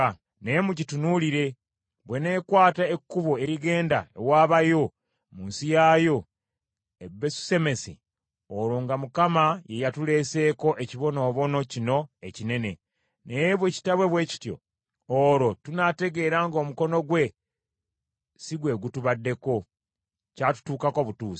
Naye mugitunuulire; bw’eneekwata ekkubo erigenda ewaabayo mu nsi yaayo, e Besusemesi, olwo nga Mukama ye yatuleeseeko ekibonoobono kino ekinene. Naye bwe kitaabe bwe kityo, olwo tunaategeera ng’omukono gwe si gwe gutubaddeko, kyatutuukako butuusi.”